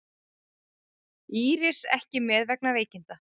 Íris ekki með vegna veikinda